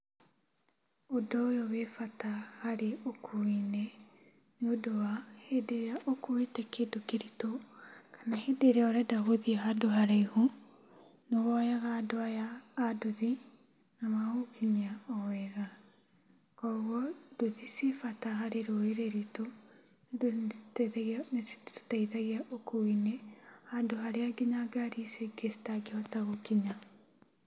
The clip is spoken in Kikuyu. Ũndũ ũyũ wĩbata harĩ ũkui-inĩ nĩũndũ wa hĩndĩ ĩrĩa ũkuĩte kĩndũ kĩritũ kana hĩndĩ ĩrĩa ũrenda gũthiĩ handũ haraihu, nĩwoyaga andũ aya a nduthi na magagũkinyia o wega. Kuogwo, nduthi cibata harĩ rũrĩrĩ ruitũ ũndũ nicitũteithagia, nicitũteithagia ũkui-inĩ handũ harĩa nginya ngari icio ingĩ citangĩhota gũkinya.